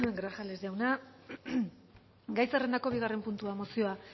grajales jauna gai zerrendako bigarren puntua mozioa